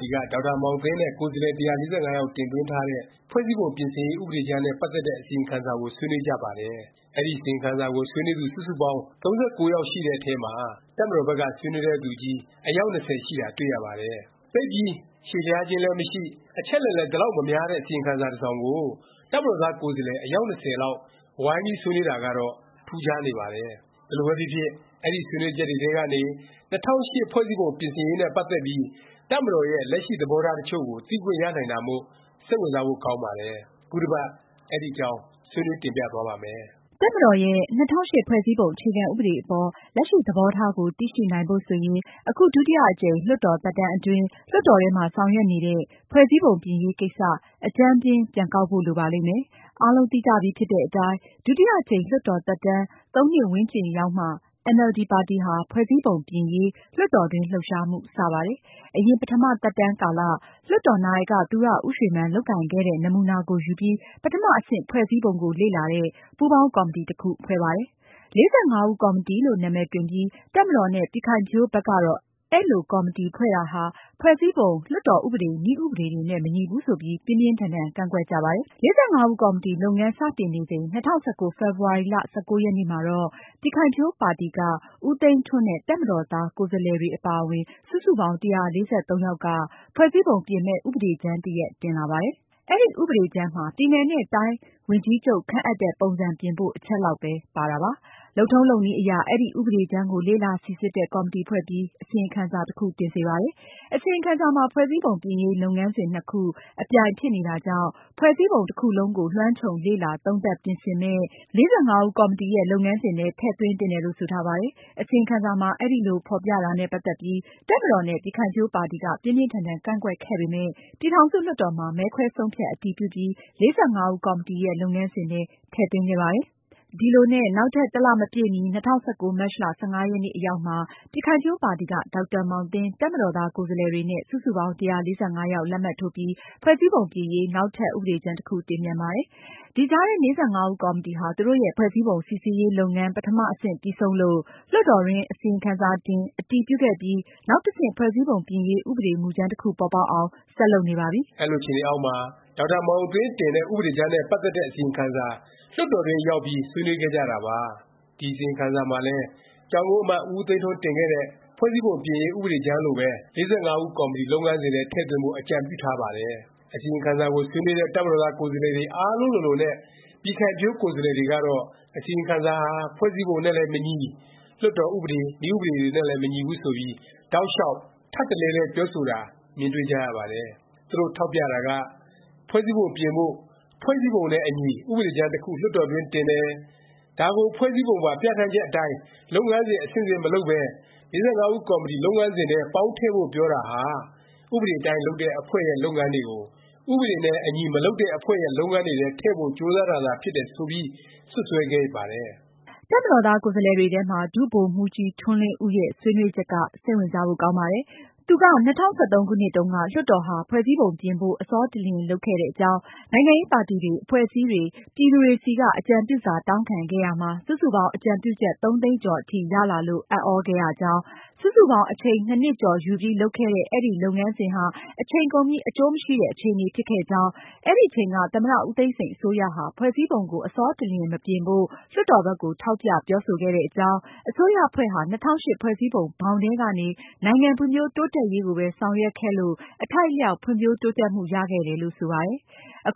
တီက ဒေါက်တာမောင်သင်း နဲ့ ကိုယ်စားလှယ် ၁၄၅ ယောက် တင်သွင်းထားတဲ့ ဖွဲ့စည်းပုံပြင်ဆင်ရေး ဥပဒေကြမ်းနဲ့ ပတ်သက်တဲ့ အစီရင်ခံစာကို ဆွေးနွေးကြပါတယ်။ အဲဒီ အစီရင်ခံစာကို ဆွေးနွေးသူ စုစုပေါင်း ၃၉ ယောက်ရှိတဲ့အထဲမှာ တပ်မတော်ဘက်က ဆွေးနွေးတဲ့ သူချည်း အယောက် ၂၀ ရှိတာ တွေ့ရပါတယ်။ သိပ်ပြီး ရှည်လျားခြင်းလည်း မရှိ၊ အချက်အလက်လည်း ဒီလောက် မများတဲ့ အစီရင်ခံစာ တစ်စောင်ကို တပ်မတော်သား ကိုယ်စားလှယ် အယောက် ၂၀ လောက် ဝိုင်းပြီး ဆွေးနွေးတာကတော့ ထူးခြားနေပါတယ်။ ဘယ်လိုပဲဖြစ်ဖြစ် အဲဒီ ဆွေးနွေးချက်တွေထဲကနေ ၂၀၀၈ ဖွဲ့စည်းပုံ ပြင်ဆင်ရေးနဲ့ ပတ်သက်ပြီး တပ်မတော်ရဲ့ လက်ရှိသဘောထား တစ်ချို့ကို သိခွင့်ရနိုင်တာမို့ စိတ်ဝင်စားဖို့ ကောင်းပါတယ်။ ခုတစ်ပတ် အဲဒီအကြောင်း ဆွေးနွေးတင်ပြသွားပါ့မယ်။ တပ်မတော်ရဲ့ ၂၀၀၈ ဖွဲ့စည်းပုံ အခြေခံဥပဒေ အပေါ် လက်ရှိ သဘောထားကို သိရှိနိုင်ဖို့ ဆိုရင် အခု ဒုတိယအကြိမ် လွှတ်တော်သက်တမ်းအတွင်း လွှတ်တော်ထဲမှာ ဆောင်ရွက်နေတဲ့ ဖွဲ့စည်းပုံပြင်ရေး ကိစ္စ အကြမ်းဖျဉ်း ပြန်ကောက်ဖို့ လိုပါလိမ့်မယ်။ အားလုံးသိကြပြီဖြစ်တဲ့အတိုင်း ဒုတိယအကြိမ် လွှတ်တော်သက်တမ်း ၃ နှစ်ဝန်းကျင်ရောက်မှ အင်န်အယ်လ်ဒီ ပါတီဟာ ဖွဲ့စည်းပုံပြင်ရေး လွှတ်တော်တွင်း လှုပ်ရှားမှု စ ပါတယ်။ အရင် ပထမ သက်တမ်းကာလ လွှတ်တော်နာယက သူရဦးရွှေမန်း လုပ်ကိုင်ခဲ့တဲ့ နမူနာကိုယူပြီး ပထမ အဆင့် ဖွဲ့စည်းပုံကို လေ့လာတဲ့ ပူးပေါင်း ကော်မတီ တစ်ခု ဖွဲ့ပါတယ်။ ၄၅ ဦးကော်မတီလို့ နာမည်တွင်ပြီး တပ်မတော်နဲ့ ပြည်ခိုင်ဖြိုးဘက်ကတော့ အဲလို ကော်မတီဖွဲ့တာဟာ ဖွဲ့စည်းပုံ၊ လွှတ်တော် ဥပဒေ၊ နည်းဥပဒေတွေနဲ့ မညီဘူး ဆိုပြီး ပြင်းပြင်းထန်ထန် ကန့်ကွက်ကြပါတယ်။ ၄၅ ဦးကော်မတီ လုပ်ငန်း စတင်နေချိန် ၂၀၁၉ ဖေဖေါ်ဝါရီ ၁၉ ရက်နေ့မှာတော့ ပြည်ခိုင်ဖြိုးပါတီက ဦးသိန်းထွန်း နဲ့ တပ်မတော်သား ကိုယ်စားလှယ်တွေ အပါအဝင် စုစုပေါင်း ၁၄၃ ယောက်က ဖွဲ့စည်းပုံ ပြင်မယ့် ဥပဒေကြမ်းတစ်ရပ် တင်လာပါတယ်။ အဲဒီ ဥပဒေကြမ်းမှာ ပြည်နယ်နဲ့ တိုင်း ဝန်ကြီးချုပ် ခန့်အပ်တဲ့ ပုံစံ ပြင်ဖို့ အချက်လောက်ပဲ ပါတာပါ။ လုပ်ထုံးလုပ်နည်းအရ အဲဒီ ဥပဒေကြမ်းကို လေ့လာစိစစ်တဲ့ ကော်မတီဖွဲ့ပြီး အစီရင်ခံစာ တစ်ခု တင်စေပါတယ်။ အစီရင်ခံစာမှာ ဖွဲ့စည်းပုံပြင်ရေး လုပ်ငန်းစဉ် နှစ်ခု အပြိုင်ဖြစ်နေတာကြောင့် ဖွဲ့စည်းပုံ တစ်ခုလုံးကို လွှမ်းခြုံလေ့လာ သုံးသပ် ပြင်ဆင်မယ့် ၄၅ ဦးကော်မတီရဲ့ လုပ်ငန်းစဉ်ထဲ ထည့်သွင်းသင့်တယ်လို့ ဆိုထားပါတယ်။ အစီရင်ခံစာမှာ အဲလို ဖော်ပြတာနဲ့ ပတ်သက်ပြီး တပ်မတော်နဲ့ ပြည်ခိုင်ဖြိုးပါတီက ပြင်းပြင်းထန်ထန် ကန့်ကွက်ခဲ့ပေမယ့် ပြည်ထောင်စုလွှတ်တော်မှာ မဲခွဲ ဆုံးဖြတ် အတည်ပြုပြီး ၄၅ ဦးကော်မတီရဲ့ လုပ်ငန်းစဉ်ထဲ ထည့်သွင်းခဲ့ပါတယ်။ ဒီလိုနဲ့ နောက်ထပ် တစ်လ မပြည့်မီ ၂၀၁၉ မတ်လ ၁၅ ရက်နေ့ အရောက်မှာ ပြည်ခိုင်ဖြိုးပါတီက ဒေါက်တာမောင်သင်း၊ တပ်မတော်သား ကိုယ်စားလှယ်တွေနဲ့ စုစုပေါင်း ၁၄၅ ယောက် လက်မှတ်ထိုးပြီး ဖွဲ့စည်းပုံပြင်ရေး နောက်ထပ် ဥပဒေကြမ်း တစ်ခု တင်ပြန်ပါတယ်။ ဒီကြားထဲ ၄၅ ဦးကော်မတီဟာ သူတို့ရဲ့ ဖွဲ့စည်းပုံ စိစစ်ရေး လုပ်ငန်း ပထမ အဆင့်ပြီးဆုံးလို့ လွှတ်တော်တွင်း အစီရင်ခံစာ တင်၊ အတည်ပြုခဲ့ပြီး နောက်တစ်ဆင့် ဖွဲ့စည်းပုံပြင်ရေး ဥပဒေမူကြမ်း တစ်ခု ပေါ်ပေါက်အောင် ဆက်လုပ်နေပါပြီ။ အဲလို အခြေအနေအောက်မှာ ဒေါက်တာမောင်သင်း တင်တဲ့ ဥပဒေကြမ်းနဲ့ ပတ်သက်တဲ့ အစီရင်ခံစာ လွှတ်တော်တွင်းရောက်ပြီး ဆွေးနွေးခဲ့ကြတာပါ။ ဒီ အစီရင်ခံစာမှာလည်း ကျောင်းကုန်းအမတ် ဦးသိန်းထွန်း တင်ခဲ့တဲ့ ဖွဲ့စည်းပုံပြင်ရေး ဥပဒေကြမ်းလိုပဲ ၄၅ ဦးကော်မတီ လုပ်ငန်းစဉ်ထဲ ထည့်သွင်းဖို့ အကြံပြုထားပါတယ်။ အစီရင်ခံစာကို ဆွေးနွေးတဲ့ တပ်မတော်သား ကိုယ်စားလှယ် အားလုံးလိုလိုနဲ့ ပြည်ခိုင်ဖြိုး ကိုယ်စားလှယ်တွေကတော့ အစီရင်ခံစာဟာ ဖွဲ့စည်းပုံနဲ့လည်း မညီ၊ လွှတ်တော် ဥပဒေ၊ နည်းဥပဒေ တွေနဲ့လည်း မညီဘူး ဆိုပြီး တောက်လျောက် ထပ်တလဲလဲ ပြောဆိုတာ မြင်တွေ့ကြရပါတယ်။ သူတို့ ထောက်ပြတာက ဖွဲ့စည်းပုံပြင်ဖို့ ဖွဲ့စည်းပုံနဲ့အညီ ဥပဒေကြမ်း တစ်ခု လွှတ်တော်တွင်း တင်တယ်၊ ဒါကို ဖွဲ့စည်းပုံပါ ပြဌာန်းချက် အတိုင်း လုပ်ငန်းစဉ် အဆင့်ဆင့် မလုပ်ပဲ ၄၅ ဦးကော်မတီ လုပ်ငန်းစဉ်ထဲ ပေါင်းထည့်ဖို့ ပြောတာဟာ ဥပဒေအတိုင်း လုပ်တဲ့ အဖွဲ့ရဲ့ လုပ်ငန်းတွေကို ဥပဒေနဲ့အညီ မလုပ်တဲ့ အဖွဲ့ရဲ့ လုပ်ငန်းတွေထဲ ထည့်ဖို့ ကြိုးစားတာသာ ဖြစ်တယ် ဆိုပြီး စွပ်စွဲခဲ့ပါတယ်။ တပ်မတော်သား ကိုယ်စားလှယ်တွေထဲမှာ ဒုဗိုလ်မှူးကြီး ထွန်းလင်းဦးရဲ့ ဆွေးနွေးချက်က စိတ်ဝင်စားဖို့ ကောင်းပါတယ်။ သူက ၂၀၁၃ ခုနှစ်တုန်းက လွှတ်တော်ဟာ ဖွဲ့စည်းပုံပြင်ဖို့ အဆောတလျင် လုပ်ခဲ့တဲ့အကြောင်း၊ နိုင်ငံရေးပါတီတွေ၊ အဖွဲ့အစည်းတွေ ပြည်သူတွေဆီက အကြံပြုစာ တောင်းခံခဲ့ရာမှာ စုစုပေါင်း အကြံပြုချက် ၃ သိန်းကျော် အထိ ရလာလို့ အံ့သြခဲ့ရကြောင်း၊ စုစုပေါင်း အချိန် ၂ နှစ်ကျော် ယူပြီး လုပ်ခဲ့တဲ့ အဲဒီ လုပ်ငန်းစဉ်ဟာ အချိန်ကုန်ပြီး အကျိုးမရှိတဲ့ အခြေအနေ ဖြစ်ခဲ့ကြောင်း၊ အဲဒီအချိန်က သမ္မတဦးသိန်းစိန် အစိုးရဟာ ဖွဲ့စည်းပုံကို အဆောတလျင် မပြင်ဖို့ လွှတ်တော်ဘက်ကို ထောက်ပြ ပြောဆိုခဲ့တဲ့အကြောင်း၊ အစိုးရအဖွဲ့ဟာ ၂၀၀၈ ဖွဲ့စည်းပုံ ဘောင်ထဲကနေ နိုင်ငံဖွံ့ဖြိုးတိုးတက်ရေးကိုပဲ ဆောင်ရွက်ခဲ့လို့ အထိုက်အလျောက် ဖွံ့ဖြိုးတိုးတက်မှု ရခဲ့တယ်လို့ ဆိုပါတယ်။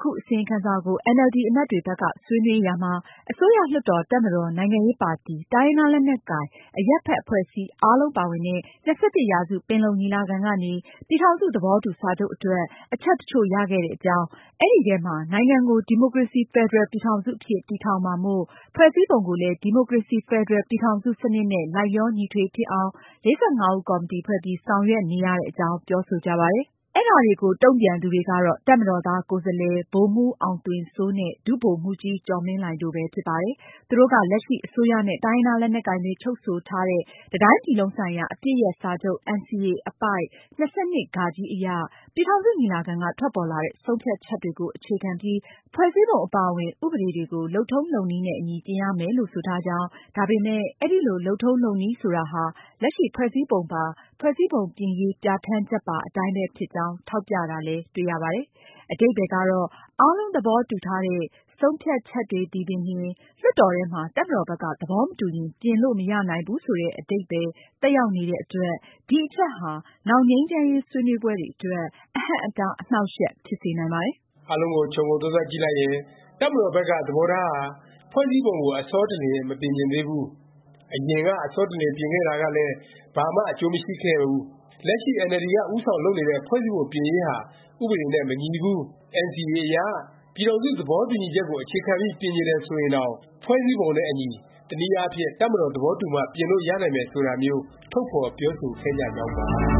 ခုအစီရင်ခံစာကို အင်န်အယ်လ်ဒီ အမတ်တွေဘက်က ဆွေးနွေးရာမှာ အစိုးရ၊ လွှတ်တော်၊ တပ်မတော်၊ နိုင်ငံရေးပါတီ၊ တိုင်းရင်းသားလက်နက်ကိုင်၊ အရပ်ဘက် အဖွဲ့အစည်း အားလုံးပါဝင်တဲ့ ၂၁ ရာစု ပင်လုံညီလာခံကနေ ပြည်ထောင်စု သဘောတူစာချုပ်အတွက် အချက် တစ်ချို့ရခဲ့တဲ့အကြောင်း၊ အဲဒီအထဲမှာ နိုင်ငံကို ဒီမိုကရေစီ ဖက်ဒရယ်ပြည်ထောင်စု အဖြစ် တည်ထောင်မှာမို့ ဖွဲ့စည်းပုံကိုလည်း ဒီမိုကရေစီ ဖက်ဒရယ်ပြည်ထောင်စု စနစ်နဲ့ လိုက်လျောညီထွေ ဖြစ်အောင် ၄၅ ဦးကော်မတီ ဖွဲ့ပြီး ဆောင်ရွက်နေရတဲ့ အကြောင်း ပြောဆိုကြပါတယ်။ အဲဒါတွေကို တုန့်ပြန်သူတွေကတော့ တပ်မတော်သား ကိုယ်စားလှယ် ဗိုလ်မှူး အောင်သွင်စိုးနဲ့ ဒုဗိုလ်မှူးကြီး ကျော်မင်းလှိုင်တို့ပဲ ဖြစ်ပါတယ်။ သူတို့က လက်ရှိ အစိုးရနဲ့ တိုင်းရင်းသား လက်နက်ကိုင်တွေ ချုပ်ဆိုထားတဲ့ တစ်တိုင်းပြည်လုံးဆိုင်ရာ အပစ်ရပ်စာချုပ် NCA အပိုဒ် ၂၂(ဃ) အရ ပြည်ထောင်စု ညီလာခံက ထွက်ပေါ်လာတဲ့ ဆုံးဖြတ်ချက်တွေကို အခြေခံပြီး ဖွဲ့စည်းပုံအပါအဝင် ဥပဒေတွေကို လုပ်ထုံးလုပ်နည်းနဲ့အညီ ပြင်ရမယ်လို့ ဆိုထားကြောင်း၊ ဒါပေမယ့် အဲဒီ လုပ်ထုံးလုပ်နည်းဆိုတာဟာ လက်ရှိဖွဲ့စည်းပုံပါ “ဖွဲ့စည်းပုံပြင်ရေး ပြဌာန်းချက်”ပါ အတိုင်းပဲ ဖြစ်ကြောင်း ထောက်ပြတာလည်း တွေ့ရပါတယ်။ အဓိပ္ပါယ်ကတော့ အားလုံး သဘောတူထားတဲ့ ဆုံးဖြတ်ချက်တွေသည်ပင်လျင် လွှတ်တော်ထဲမှာ တပ်မတော်ဘက်က သဘောမတူရင် ပြင်လို့ မရနိုင်ဘူး ဆိုတဲ့ အဓိပ္ပါယ် သက်ရောက်နေတဲ့အတွက် ဒီအချက်ဟာ နောင် ငြိမ်းချမ်းရေး ဆွေးနွေးပွဲတွေအတွက် အဟန့်အတား အနှောင့်အယှက် ဖြစ်စေနိုင်ပါတယ်။ အားလုံးကို ခြုံငုံသုံးသပ်ကြည့်လိုက်ရင် တပ်မတော်ဘက်က သဘောထားဟာ ဖွဲ့စည်းပုံကို အဆောတလျင် မပြင်ချင်သေးဘူး၊ အရင်က အဆောတလျင် ပြင်ခဲ့တာကလည်း ဘာမှ အကျိုးမရှိခဲ့ဘူး၊ လက်ရှိ အင်န်အယ်လ်ဒီက ဦးဆောင်လုပ်နေတဲ့ ဖွဲ့စည်းပုံ ပြင်ရေးဟာ ဥပဒေနဲ့ မညီဘူး၊ NCA အရ ပြည်ထောင်စု သဘောတူညီချက်ကို အခြေခံပြီး ပြင်ချင်တယ် ဆိုရင်တောင် ဖွဲ့စည်းပုံနဲ့အညီ တနည်းအားဖြင့် တပ်မတော် သဘောတူမှ ပြင်လို့ ရနိုင်မယ် ဆိုတာမျိုး ထုတ်ဖော်ပြောဆိုခဲ့ကြကြောင်းပါ